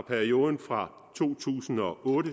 perioden fra to tusind og otte